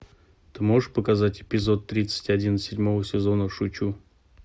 ты можешь показать эпизод тридцать один седьмого сезона шучу